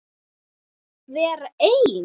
Vera einn?